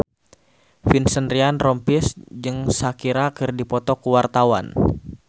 Vincent Ryan Rompies jeung Shakira keur dipoto ku wartawan